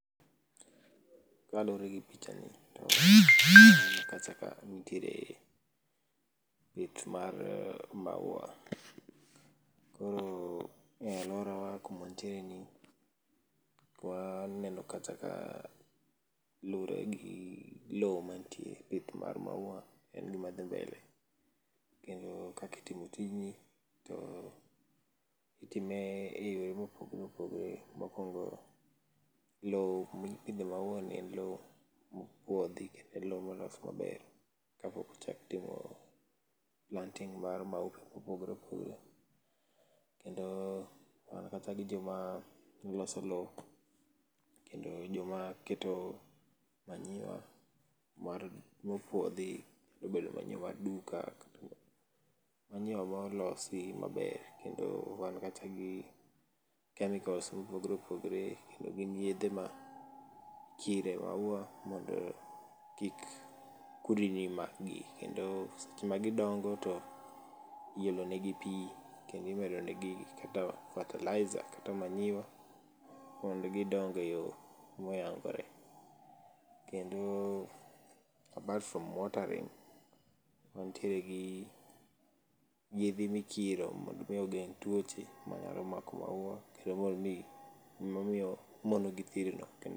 Kaluwore gi picha ni to aneno kacha ka nitiere pith mar maua. Koro e alwora wa kuma antiere ni, twaneno kata ka luwore gi lowo mantie pith mar maua en gima dhi mbele. Kendo kaka itimo tijni to itime e yore mopogore opogore. Mokuongo, loo mipidhe maua ni en loo mopuodhi, kendo loo molos maber kapok ochak timo planting mar maupe mopogore opogore. Kendo, wan kacha gi joma loso loo, kendo joma keto manyiwa mar, mopuodhi, obed manyiwa mar duka, manyiwa molosi maber kendo wan kacha gi chemicals mopogore opogore, kendo gin yedhe ma ikire maua mondo kik kudni ma gi. Kendo seche ma gidongo to iolo ne gi pi, kendo imedo negi kata fertilizer kata manyiwa mondo gidong e yo moyangore. Kendo, apart from watering, wantiere gi yedhe mikiro mondo mi ogeng' tuoche manyalo mako maua, kendo mondo mi momiyo mondo githirno...